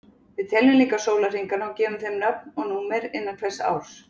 Við teljum líka sólarhringana og gefum þeim nöfn og númer innan hvers árs.